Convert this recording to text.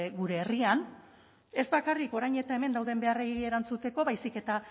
gure herrian ez bakarrik orain eta hemen dauden beharrei erantzuteko baizik eta